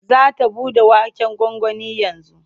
Za ta buɗe waken gwangwanin yanzu.